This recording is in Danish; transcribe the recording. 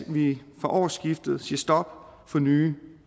vi fra årsskiftet siger stop for nye